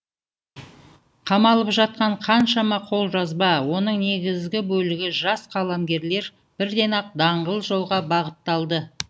қамалып жатқан қаншама қолжазба оның негізгі бөлігі жас қаламгерлер бірден ақ даңғыл жолға бағытталды